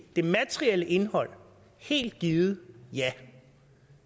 det materielle indhold helt givet ja